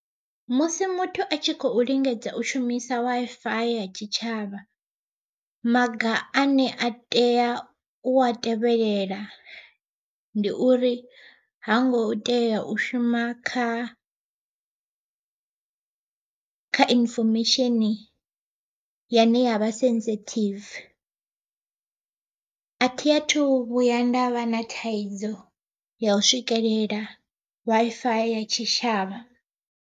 Musi muthu a tshi khou lingedza u shumisa Wi-Fi ya tshitshavha, maga ane a tea u a tevhelela ndi uri, hango tea u shuma kha kha information yane yavha sensitive a thi a thu vhuya ndavha na thaidzo ya u swikelela Wi-Fi ya tshitshavha.